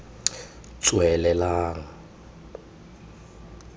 tswelelang